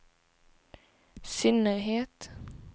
synnerhet